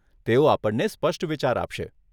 તેઓ આપણને સ્પષ્ટ વિચાર આપશે.